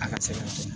A ka sɛbɛn